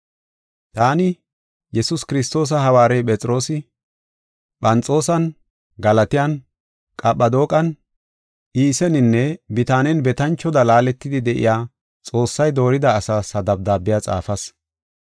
Taani, Yesuus Kiristoosa hawaarey Phexroosi; Phanxoosan, Galatiyan, Qaphadooqan, Iiseninne Bitaanen betanchoda laaletidi de7iya Xoossay doorida, asaas ha dabdaabiya xaafas.